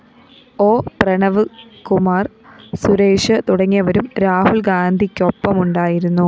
O Pranavkumar‍ Suresh തുടങ്ങിയവരും രാഹുല്‍ ഗാന്ധിയ്‌ക്കൊപ്പമുണ്ടായിരുന്നു